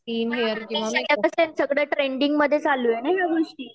सध्या तर ट्रेंडिंग मध्ये चालू आहे ना या गोष्टी.